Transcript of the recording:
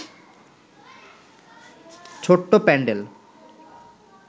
ছোট্ট প্যান্ডেল